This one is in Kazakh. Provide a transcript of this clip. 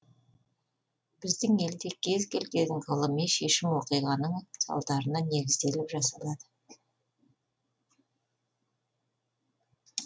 біздің елде кез келген ғылыми шешім оқиғаның салдарына негізделіп жасалады